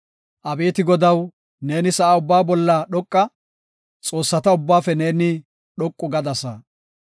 Abeeti Godaw, neeni sa7a ubba bolla dhoqa; xoossata ubbaafe neeni dhoqu gadasa.